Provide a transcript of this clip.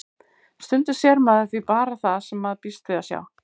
Stundum sér maður því bara það sem maður býst við að sjá.